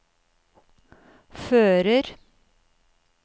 fører